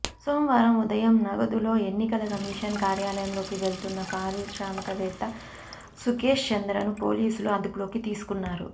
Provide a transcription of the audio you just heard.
సోమవారం ఉదయం నగదుతో ఎన్నికల కమిషన్ కార్యాలయంలోకి వెలుతున్న పారిశ్రామికవేత్త సుఘేష్ చంద్రను పోలీసులు అదుపులోకి తీసుకున్నారు